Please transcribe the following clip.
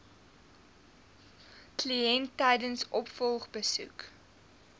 kliënt tydens opvolgbesoeke